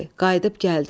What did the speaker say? Qayıdıb gəldi.